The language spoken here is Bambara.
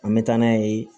An bɛ taa n'a ye